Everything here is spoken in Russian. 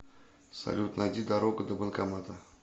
салют найди дорогу до банкомата